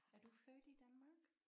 Er du født i Danmark?